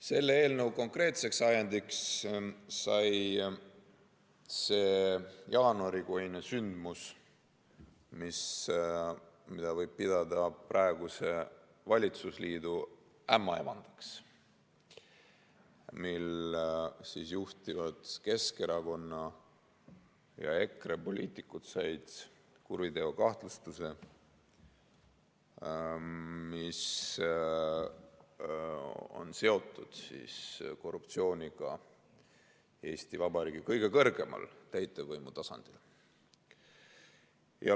Selle eelnõu konkreetseks ajendiks sai see jaanuarikuine sündmus, mida võib pidada praeguse valitsusliidu ämmaemandaks, kui juhtivad Keskerakonna ja EKRE poliitikud said kuriteokahtlustuse, mis on seotud korruptsiooniga Eesti Vabariigi kõige kõrgemal täitevvõimu tasandil.